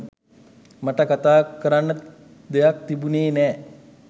මට කතා කරන්න දෙයක් තිබුණෙ නෑ.